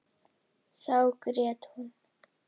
Þá grét hún.